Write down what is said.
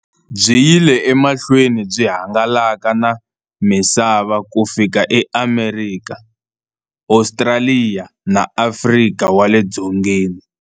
Byi yile emahlweni byi hangalaka na misava ku fika eAmerika, Ostraliya na Afrika wale dzongeni.